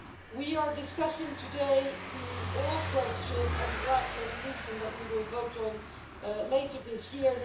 We are discussing today the oral question and the draft resolution that we will vote on later this year.